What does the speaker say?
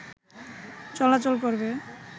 চলাচল করবে